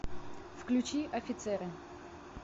включи офицеры